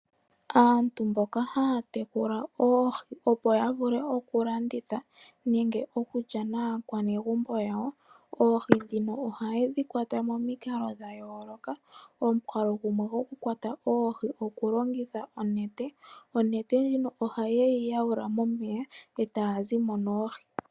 Aantu mboka gaya tekula oohi opo yavule okulanditha nenge okulya naakwanegumbo yawo oohi ohayedhikwata momikalo dhayooloka. Omukalo gumwe gwokukwata oohi okulongitha onete. Onete ohayeyi yawula momeya etaya zimo noohi.